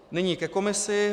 Nyní ke komisi.